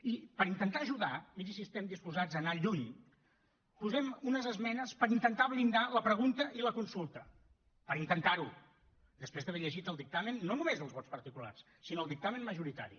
i per intentar ajudar miri si estem disposats a anar lluny posem unes esmenes per intentar blindar la pregunta i la consulta per intentar ho després d’haver llegit el dictamen no només els vots particulars sinó el dictamen majoritari